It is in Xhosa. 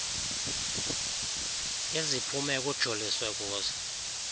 iziphumo ekujoliswe kuzo